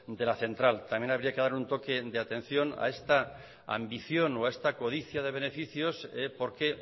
de la central también habría que dar un toque de atención a esta ambición o a esta codicia de beneficios porque